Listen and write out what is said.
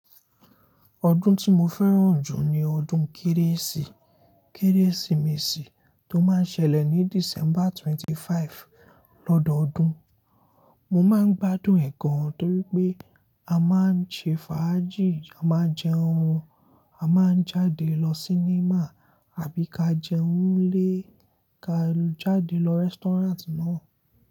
Ọdún tí mo fẹ́ràn jù ni ọdún Kérésì. Kérésìmesì tó máa n sẹlẹ̀ ní December 25 lọ́dọọdún. Mo máa ń gbádùn ẹ̀ gan torí pé a máa ń ṣe fàájì, a máa jẹ oúnjẹ, a máa jáde lọ sí níma àbí ka jẹun 'nlẹ ka jáde lọ rẹ́stọ́ranti náà.